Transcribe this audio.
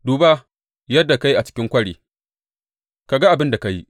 Duba yadda ka yi a cikin kwari; ka ga abin da ka yi.